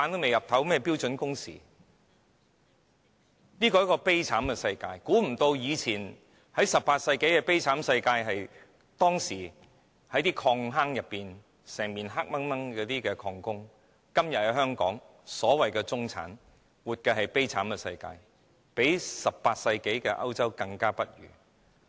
現時的香港是一個悲慘世界 ，18 世紀的歐洲是一個悲慘世界，當時的礦工整年在漆黑的礦坑內工作，而香港的所謂"中產"今天也活在悲慘世界裏，比18世紀的歐洲更不堪。